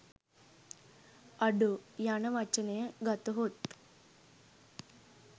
අඩෝ යන වචනය ගතහොත්